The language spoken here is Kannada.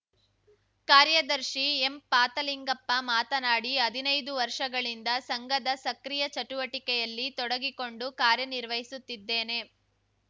ಕಾರ್ಯದರ್ಶಿ ಎಂಪಾತಲಿಂಗಪ್ಪ ಮಾತನಾಡಿ ಹದಿನೈದು ವರ್ಷಗಳಿಂದ ಸಂಘದ ಸಕ್ರಿಯ ಚಟುವಟಿಕೆಯಲ್ಲಿ ತೊಡಗಿಕೊಂಡು ಕಾರ್ಯನಿರ್ವಹಿಸುತ್ತಿದ್ದೇನೆ